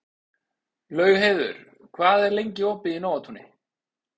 Laugheiður, hvað er lengi opið í Nóatúni?